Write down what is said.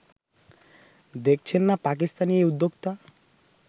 দেখছেন না পাকিস্তানি এই উদ্যোক্তা